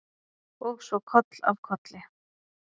Og svo koll af kolli.